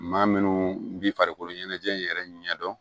Maa minnu bɛ farikolo ɲɛnajɛ in yɛrɛ ɲɛ dɔn